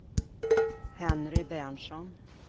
Henry Berntsson